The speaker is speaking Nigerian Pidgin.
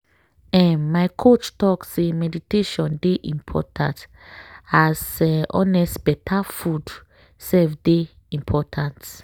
um my coach talk say meditation dey…. important as honest better food sef dey important.